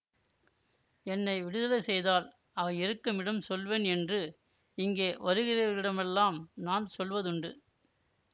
என்னை விடுதலை செய்தால் அவை இருக்குமிடம் சொல்வேன் என்று இங்கே வருகிறவர்களிடமெல்லாம் நான் சொல்வதுண்டு